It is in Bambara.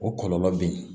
O kɔlɔlɔ be yen